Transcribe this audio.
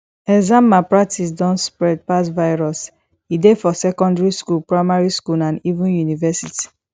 exam malpractice don spread pass virus e dey for secondary school primary school and even university